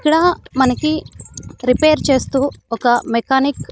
ఇక్కడ మనకి రిపేర్ చేస్తూ ఒక మెకానిక్ .